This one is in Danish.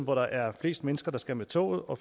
hvor der er flest mennesker der skal med toget og